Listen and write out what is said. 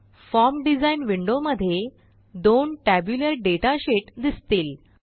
form design window मध्ये दोन tabular data sheet दिसतील